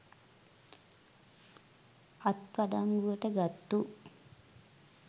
අත් අඩංගුවට ගත්තු